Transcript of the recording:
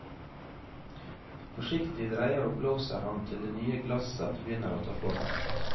Forsiktig dreier og blåser han til det nye glasset begynner å ta form.